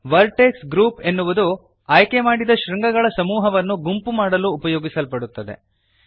vertex groups ಎನ್ನುವುದು ಆಯ್ಕೆಮಾಡಿದ ಶೃಂಗಗಳ ಸಮೂಹವನ್ನು ಗುಂಪು ಮಾಡಲು ಉಪಯೋಗಿಸಲ್ಪಡುತ್ತದೆ